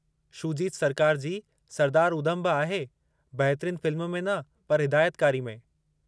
शूजीत सरकार जी सरदार उधम बि आहे, बहितरीन फ़िल्म में न पर हिदायतकारी में।